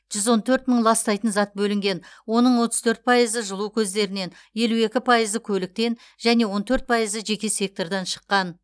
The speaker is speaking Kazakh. жүз он төрт мың ластайтын зат бөлінген оның отыз төрт пайызы жылу көздерінен елу екі пайызы көліктен және он төрт пайызы жеке сектордан шыққан